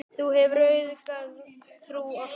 Þú hefur auðgað trú okkar.